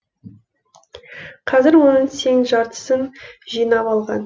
қазір оның тең жартысын жинап алған